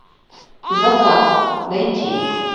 закат найти